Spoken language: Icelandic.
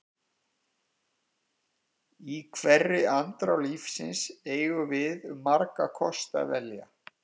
Í hverri andrá lífsins eigum við um marga kosti að velja.